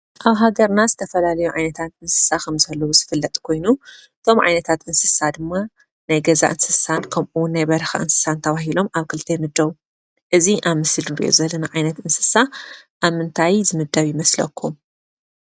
ኣብ ሃገርና ዝተፈላለዩ ዓይነታት እንስሳ ኸም ዘለውዝፍለጥ ኮይኑ እቶም ዓይነታት ድማ ናይ ገዛ እንስሳት ከምኡውን ናይ በረካ እንስሳት ተባሂሎም ኣብ ክልተ ይምደቡ ፡፡እዚ ኣብ ምስሊ ንሪኦ ዘለና ዓይነት እንስሳት ኣብ ምንታይ ዝምደብ ይመስለኩም ?